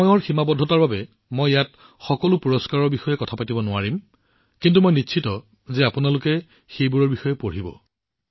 সময়ৰ সীমাবদ্ধতাৰ বাবে মই ইয়াত সকলো পুৰস্কাৰ প্ৰাপ্ত ব্যক্তিৰ বিষয়ে কথা পাতিব নোৱাৰিম কিন্তু মই নিশ্চিত যে আপোনালোকে নিশ্চিতভাৱে এওঁলোকৰ বিষয়ে পঢ়িব